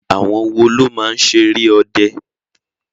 Àwọn wo ló máa ń ṣeré ọde?